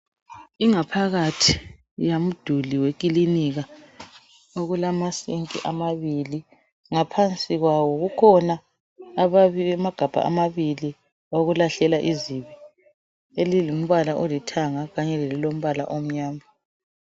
Ingaphakathi yamduli wekilinika okulamasinki amabili. Ngaphansi kwawo kukhona ababi amagabha amabili okulahlela izibi. Elilombala olithanga kanye lelilombala omnyama.